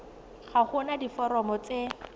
ga go na diforomo tse